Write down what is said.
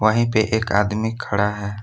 वहीं पे एक आदमी खड़ा है।